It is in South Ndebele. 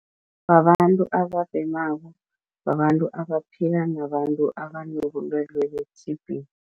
Babantu ababhemako, babantu abaphila nabantu abanobulwelwe be-T_B.